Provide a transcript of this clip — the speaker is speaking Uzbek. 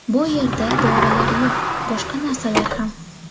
Bu yerda dorilar yo‘q, boshqa narsalar ham.